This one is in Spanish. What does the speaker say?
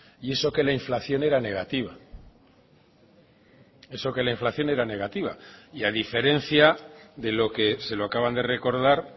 y eso que la inflación era negativa eso que la inflación era negativa y a diferencia de lo que se lo acaban de recordar